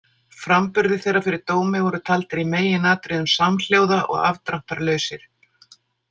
Framburðir þeirra fyrir dómi voru taldir í meginatriðum samhljóða og afdráttarlausir.